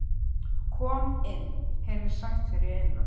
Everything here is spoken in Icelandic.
Kom inn, heyrðist sagt fyrir innan.